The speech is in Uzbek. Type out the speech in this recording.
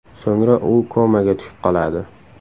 So‘ngra u komaga tushib qoladi.